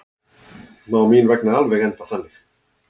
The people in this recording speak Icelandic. Má mín vegna alveg enda þannig.